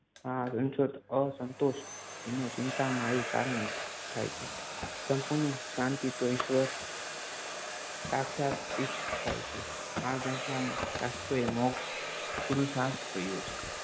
આ અંતોષ અસંતોષ ચિંતામાં એ કારણ થાય છે સંપૂર્ણ શાંતિ તો ઈશ્વર સાક્ષાતથી જ થાય છે. આ મોક્ષ પુરુષાર્થ કહ્યો છે